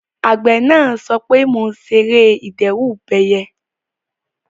Àgbẹ̀ náà sọ pé "mo ṣe ère ìdẹ́rùbẹyẹ"